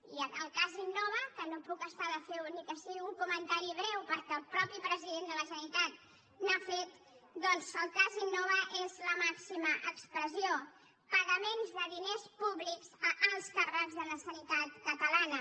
i el cas innova que no em puc estar de fer ne ni que sigui un comentari breu perquè el mateix president de la generalitat n’ha fet doncs el cas innova n’és la màxima expressió pagaments de diners públics a alts càrrecs de la sanitat catalana